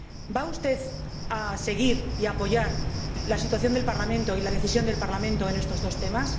¿Va usted a seguir y apoyar la posición del Parlamento y la decisión del Parlamento en estos dos temas?